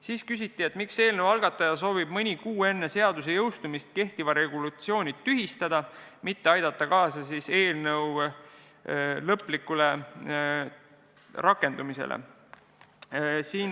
Veel küsiti, miks eelnõu algataja soovib mõni kuu enne seaduse jõustumist kehtiva regulatsiooni tühistada, mitte aidata kaasa selle lõplikule rakendumisele.